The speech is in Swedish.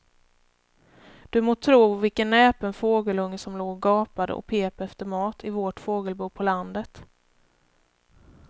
Du må tro vilken näpen fågelunge som låg och gapade och pep efter mat i vårt fågelbo på landet.